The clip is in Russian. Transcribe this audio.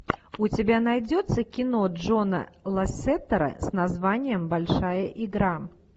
у тебя найдется кино джона лассетера с названием большая игра